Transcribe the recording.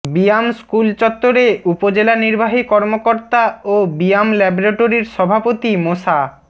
BIAM school চত্বরে উপজেলা নির্বাহী কর্মকর্তা ও বিয়াম ল্যাবরেটরির সভাপতি মোসা